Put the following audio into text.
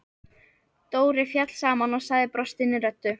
Dóri féll saman og sagði brostinni röddu: